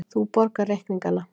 Þú borgar reikningana.